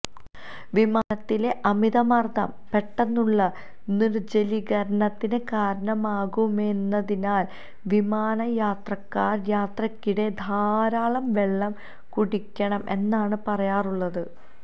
വിമാനത്തിലെ അമിത മര്ദ്ദം പെട്ടെന്നുള്ള നിര്ജ്ജലീകരണത്തിന് കാരണമാകുമെന്നതിനാല് വിമാന യാത്രക്കാര് യാത്രയ്ക്കിടെ ധാരാളം വെള്ളം കുടിക്കണം എന്നാണ് പറയാറുള്ളത്